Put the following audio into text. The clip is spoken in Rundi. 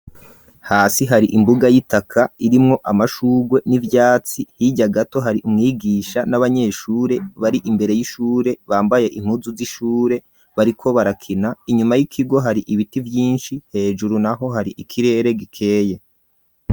Hasi hari imbuga y'itaka irimwo amashugwe n'ivyatsi hirya gato hari umwigisha n'abanyeshure bari imbere y'ishure bambaye inkuzu z'ishure bariko barakina inyuma y'ikigo hari ibiti vyinshi hejuru naho hari ikirere gikeye.